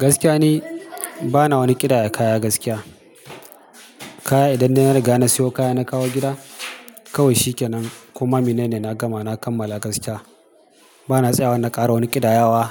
Gaskiya ni bana wani ƙidaya kaya gaskiya. Kaya idan na riga na siyo kaya na kawo gida kawai shi ke nan. Koma menene na gama na kammala gaskiya. Bana tsayawa na kara wani ƙidayawa